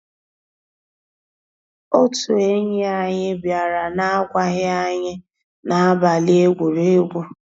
Ótú ényí ànyị́ biàrà n'àgwàghị́ ànyị́ n'àbàlí égwùrégwù.